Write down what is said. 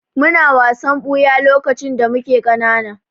Muna wasan ɓuya lokacin da muke ƙanana.